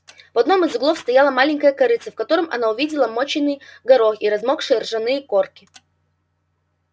в одном из углов стояло маленькое корытце в котором она увидела мочёный горох и размокшие ржаные корки